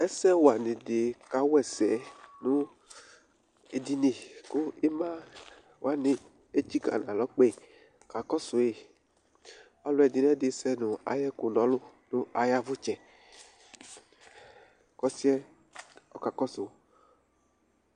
Ɛsɛwanɩ dɩ kawa ɛsɛ nʋ edini ,kʋ ɩma wanɩ etsikǝ n'alɔ kpee ka kɔsʋ yɩ Ɔlʋ ɛdɩn'ɛdɩ sɛ nʋ ayɛkƲ n'ɔlʋ n'ayavʋtsɛ ,k'ɔsɩɛ ɔka kɔsʋ